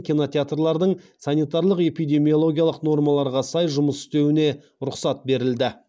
кинотеатрлардың санитарлық эпидемиологиялық нормаларға сай жұмыс істеуіне рұқсат берілді